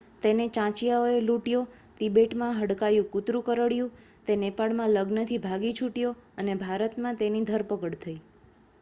તેને ચાંચિયાઓએ લૂંટ્યો તિબેટમાં હડકાયું કૂતરું કરડ્યું તે નેપાળમાં લગ્નથી ભાગી છૂટ્યો અને ભારતમાં તેની ધરપકડ થઈ